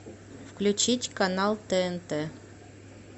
включить канал тнт